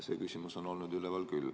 See küsimus on olnud üleval küll.